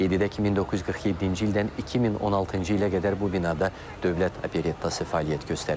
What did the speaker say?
Qeyd edək ki, 1947-ci ildən 2016-cı ilə qədər bu binada dövlət operettası fəaliyyət göstərib.